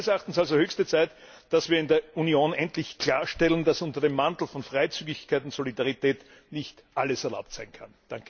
Es ist meines Erachtens also höchste Zeit, dass wir in der Union endlich klarstellen, dass unter dem Mantel von Freizügigkeit und Solidarität nicht alles erlaubt sein kann!